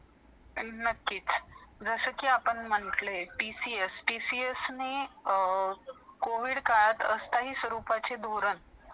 आणि नक्कीच जसे आपण म्हटले TCS , TCS ने covid काळामदे असतं ही स्वरूपाचे दुरण